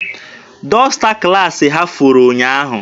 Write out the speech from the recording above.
Dọsta klaasị ya furu ụnyaahụ.